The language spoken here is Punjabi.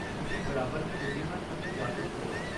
ਤੁਸੀਂ ਬਰਾਬਰ ਦੇ ਬੁੱਧੀਮਾਨ ਅਤੇ ਜਾਗਰੂਕ ਹੋ।